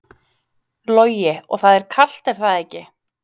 Logi: Og það er kalt er það ekki?